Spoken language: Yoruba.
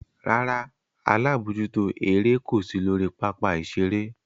Rárá, alabojuto ere ko si lori papa-iṣere.